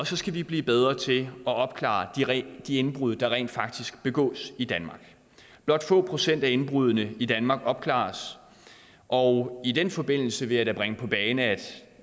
så skal vi blive bedre til at opklare de indbrud der rent faktisk begås i danmark blot få procent af indbruddene i danmark opklares og i den forbindelse vil jeg da bringe på bane at